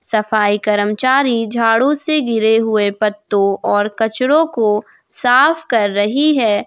सफाई कर्मचारी झाड़ू से गिरे हुए पत्तों और कचड़ों को साफ कर रही है।